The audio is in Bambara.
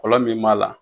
Fɔlɔ min b'a la